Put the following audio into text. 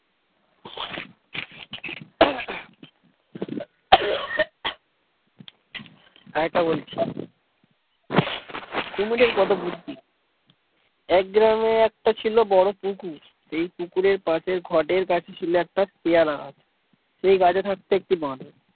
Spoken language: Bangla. আরেকটা বলছি কুমিরের কত বুদ্ধি এক গ্রামে একটা ছিল বড় পুকুর সেই পুকুরের পাশের ঘাটের কাছে ছিল একটা পেয়ারা গাছ সেই গাছে থাকতো একটি বাঁদর।